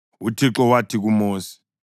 UThixo wathi kuMosi,